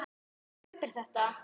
Hún kaupir þetta.